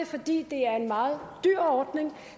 fordi det er en meget dyr ordning